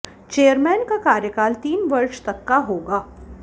chairman का कार्यकाल तीन वर्ष तक का होगा